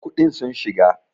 kuɗin sun shiga!!